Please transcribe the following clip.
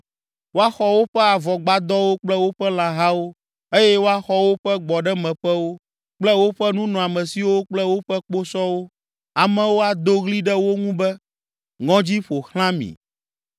Woaxɔ woƒe avɔgbadɔwo kple woƒe lãhawo eye woaxɔ woƒe gbɔɖemeƒewo kple woƒe nunɔamesiwo kple woƒe kposɔwo. Amewo ado ɣli ɖe wo ŋu be, ‘Ŋɔdzi ƒo xlã mi!’